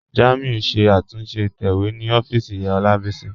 Jàmíù n ṣẹ̀ àtúnṣe ìtẹ̀wẹ̀ ni òfìísì Olábísí.